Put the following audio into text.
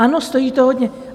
Ano, stojí to hodně.